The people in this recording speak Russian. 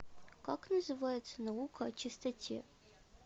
как называется наука о чистоте